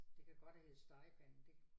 Det kan godt have heddet Stegepanden det